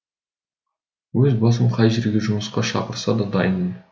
өз басым қай жерге жұмысқа шақырса да дайынмын